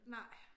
Nej